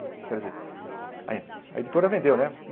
Quer dizer, a ê a editora vendeu, né?